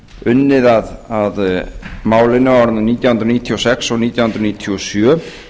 unnið að málinu árin nítján hundruð níutíu og sex og nítján hundruð níutíu og sjö